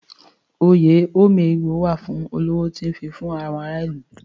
Oyè Ome ego wà fún olówó tó ń fifún àwọn ará ìlú.